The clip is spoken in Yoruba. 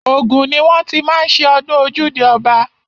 Ògùn ni wọ́n ti má ń ṣe ọdún ojúde ọba.